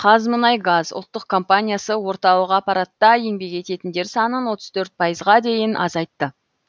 қазмұнайгаз ұлттық компаниясы орталық аппаратта еңбек ететіндер санын отыз төрт пайызға дейін азайтты